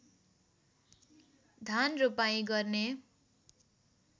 धान रोपाइँ गर्ने